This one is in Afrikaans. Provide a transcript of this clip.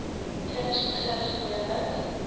kinders begin gewoonlik